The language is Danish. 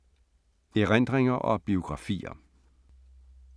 Erindringer og biografier